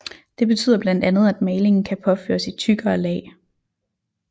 Det betyder blandt andet at malingen kan påføres i tykkere lag